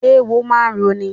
Eéwo máa ń roni.